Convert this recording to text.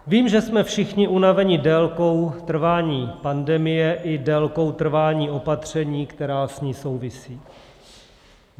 Vím, že jsme všichni unaveni délkou trvání pandemie i délkou trvání patření, která s ní souvisí.